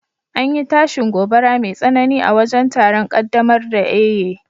an yi tashin gobara mai tsanani a wajen taron kaddamar da Eiye